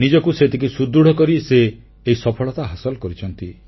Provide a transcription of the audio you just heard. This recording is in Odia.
ନିଜକୁ ସେତିକି ସୁଦୃଢ଼ କରି ସେ ଏହି ସଫଳତା ହାସଲ କରିଛନ୍ତି